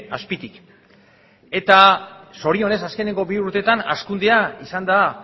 azpitik eta zorionez azkeneko bi urteetan hazkundea izan da